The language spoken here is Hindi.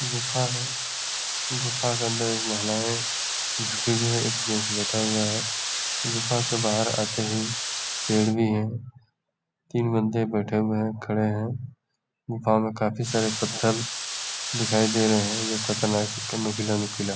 गुफा है। गुफा के अंदर एक महिलाये झुकी हुई हैं। एक जेंट्स बैठा हुआ है। गुफा के बाहर आते ही पेड़ भी है। तीन बन्दे बैठे हुए हैं खड़े हैं। गुफा मे काफी सारे पत्थल दिखाई दे रहे है। ये खतरनाक --